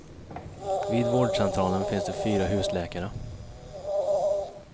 Vid vårdcentralen finns det fyra husläkare.